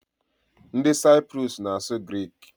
Ndị Saiprus na-asụ grik.